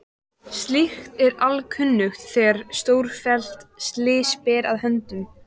Slíkt er alkunnugt þegar stórfelld slys ber að höndum.